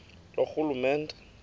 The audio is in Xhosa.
loorhulumente